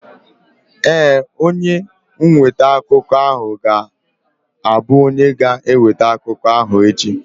Ee, onye nweta akụkọ ahụ ga-abụ onye ga-eweta akụkọ ahụ echi.